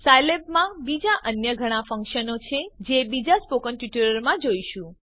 સાયલેબમાં બીજા અન્ય ઘણા ફંકશનો છે જે બીજા સ્પોકન ટ્યુટોરીયલોમાં જોઈશું